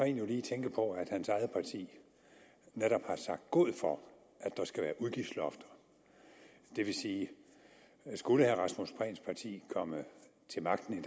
jo lige tænke på at hans eget parti netop har sagt god for at der skal være udgiftslofter det vil sige at skulle herre rasmus prehns parti komme til magten i